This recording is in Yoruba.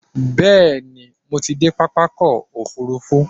Bẹ́ẹ̀ni, mo ti dé pápákọ̀ òfurufú.